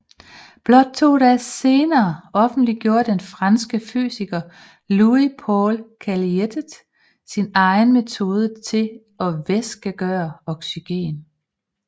Blot to dage senere offentliggjorde den franske fysiker Louis Paul Cailletet sin egen metode til at væskegøre oxygen